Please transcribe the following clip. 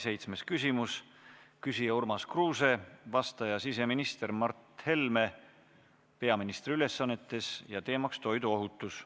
Seitsmes küsimus: küsija Urmas Kruuse, vastaja siseminister Mart Helme peaministri ülesannetes, teemaks toiduohutus.